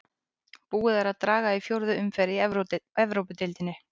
Búið er að draga í fjórðu umferð í Evrópudeildinni.